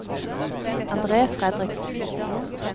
Andre Fredriksen